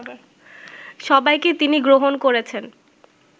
সবাইকে তিনি গ্রহণ করেছেন